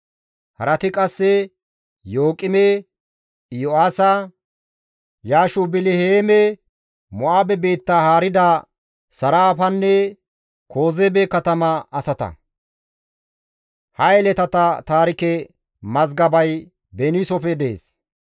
Harati qasse Yoqiime, Iyo7aasa, Yashubiliheeme, Mo7aabe biitta haarida Saraafanne Kozeebe katama asata; (ha yeletata taarike mazgabay beniisofe dees.)